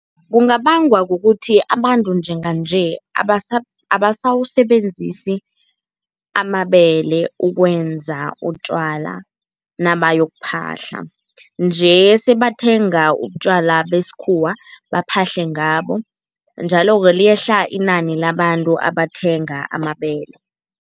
Kungabangwa kukuthi abantu njenganje abasawusebenzisi amabele ukwenza utjwala nabayokuphahla, nje sebathenga utjwala besikhuwa baphahle ngabo njalo-ke liyehla inani labantu abathenga amabele.